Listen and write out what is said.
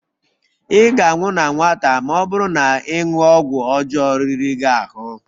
Ị ga-anwụ na nwata ma ọ bụrụ na ịṅụ ọgwụ ọjọọ riri gị ahụ